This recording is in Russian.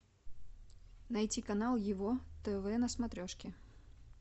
найти канал его тв на смотрешке